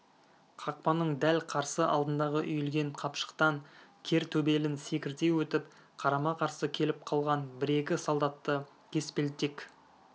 қақпаның дәл қарсы алдындағы үйілген қапшықтан кер төбелін секірте өтіп қарама-қарсы келіп қалған бір-екі солдатты кеспелтек